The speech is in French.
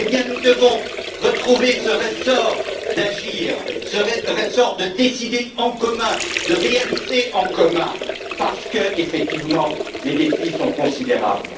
Alors, nous devons retrouver ce ressort d'agir, ce ressort de décider en commun, de réaliser en commun, parce que, effectivement, les défis sont considérables.